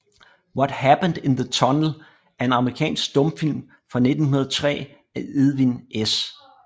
What Happened in the Tunnel er en amerikansk stumfilm fra 1903 af Edwin S